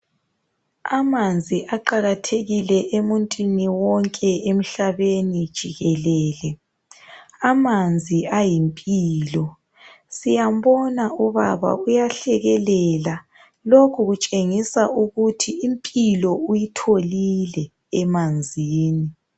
Amanzi aqakathekile emuntwini wonke emhlabeni jikelele amanzi ayimpilo siyambona ubaba uyahlekelela lokhu kutshengisa ukuthi impilo uyitholile emanzini.